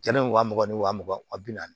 Jɛnɛ in wa mugan ni wa mugan wa bi naani